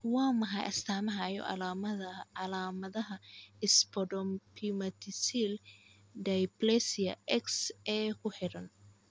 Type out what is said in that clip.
Waa maxay astamaha iyo calaamadaha Spondyloepimetaphyseal dysplasia X ee ku xiran?